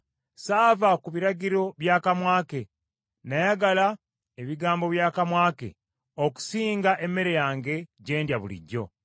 Saava ku biragiro by’akamwa ke. Nayagala ebigambo by’akamwa ke okusinga emmere yange gyendya bulijjo.